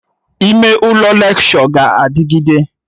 Ime ụlọ lekshọ ga-adịgide